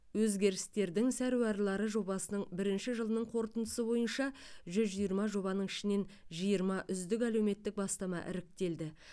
өзгерістердің саруарлары жобасының бірінші жылының қорытындысы бойынша жүз жиырма жобаның ішінен жиырма үздік әлеуметтік бастама іріктелді